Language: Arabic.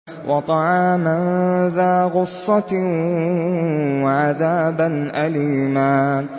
وَطَعَامًا ذَا غُصَّةٍ وَعَذَابًا أَلِيمًا